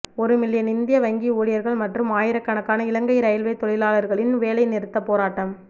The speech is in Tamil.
ஒரு மில்லியன் இந்திய வங்கி ஊழியர்கள் மற்றும் ஆயிரக்கணக்கான இலங்கை இரயில்வே தொழிலாளர்களின் வேலைநிறுத்தப் போராட்டம்